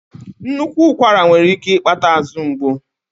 Nnukwu ụkwara nwere ike ịkpata azụ ngbu.